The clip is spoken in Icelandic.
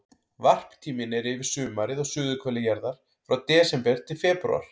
Varptíminn er yfir sumarið á suðurhveli jarðar, frá desember til febrúar.